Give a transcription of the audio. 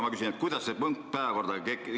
Ma küsin jälle, kuidas see punkt päevakorda tekkis.